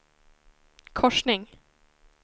korsning